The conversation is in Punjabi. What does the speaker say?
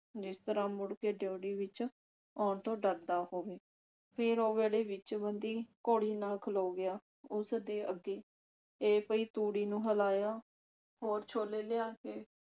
ਜਿਸ ਤਰ੍ਹਾਂ ਮੁੜ ਕੇ ਡਿਓਢੀ ਵਿਚ ਆਉਣ ਤੋਂ ਡਰਦਾ ਹੋਵੇ ਫਿਰ ਉਹ ਵਿਹੜੇ ਵਿਚ ਬੰਧੀ ਘੋੜੀ ਨਾਲ ਖਲੋ ਗਿਆ ਉਸਦੇ ਅੱਗੇ ਇਹ ਪਈ ਤੂੜੀ ਨੂੰ ਹਿਲਾਇਆ ਹੋਰ ਛੋਲੇ ਲਿਆ ਕੇ